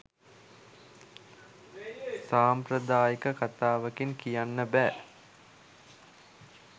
සාම්ප්‍රදායික කතාවකින් කියන්න බෑ